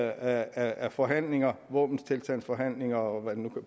af forhandlinger våbenstilstandsforhandlinger og